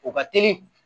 O ka teli